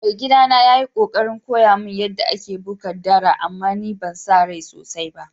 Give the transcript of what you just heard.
Mai gida na ya yi kokarin koya mun yada ake buga dara amma ban sa rai sosai ba.